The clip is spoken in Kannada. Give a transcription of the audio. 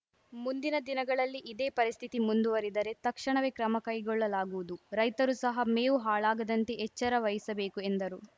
ಮುಂದಿನ ದಿನಗಳಲ್ಲಿ ಇದೇ ಪರಿಸ್ಥಿತಿ ಮುಂದುವರಿದರೆ ತಕ್ಷಣವೇ ಕ್ರಮ ಕೈಗೊಳ್ಳಲಾಗುವುದು ರೈತರು ಸಹ ಮೇವು ಹಾಳಾಗದಂತೆ ಎಚ್ಚರವಹಿಸಬೇಕು ಎಂದರು